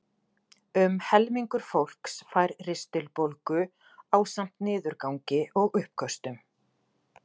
Um helmingur fólks fær ristilbólgu ásamt niðurgangi og uppköstum.